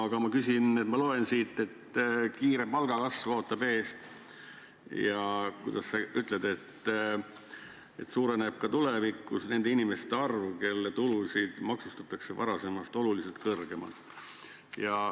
Aga ma loen siit, et kiire palgakasv ootab ees, ja kuidas sa ütlesidki, et ka tulevikus suureneb nende inimeste arv, kelle tulusid maksustatakse varasemast oluliselt kõrgemalt.